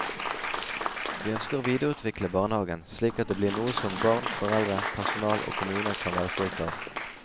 Vi ønsker å videreutvikle barnehagen slik at det blir noe som barn, foreldre, personal og kommune kan være stolt av.